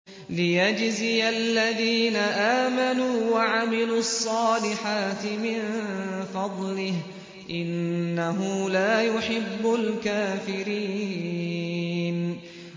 لِيَجْزِيَ الَّذِينَ آمَنُوا وَعَمِلُوا الصَّالِحَاتِ مِن فَضْلِهِ ۚ إِنَّهُ لَا يُحِبُّ الْكَافِرِينَ